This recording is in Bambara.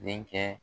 Denkɛ